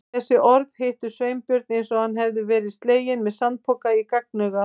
Þessi orð hittu Sveinbjörn eins og hann hefði verið sleginn með sandpoka í gagnaugað.